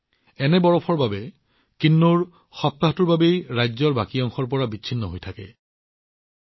ইমান তুষাৰপাতৰ সৈতে কিন্নৌৰৰ ৰাজ্যৰ বাকী অংশৰ সৈতে যোগাযোগ সেই সময়ছোৱাত অতি কঠিন হৈ পৰে